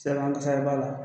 Sirabakan kasara b'a la